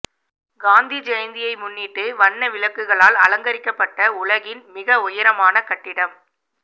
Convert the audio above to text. காந்தி ஜெயந்தியை முன்னிட்டு வண்ண விளக்குகளால் அலங்கரிக்கப்பட்ட உலகின் மிக உயரமான கட்டிடம்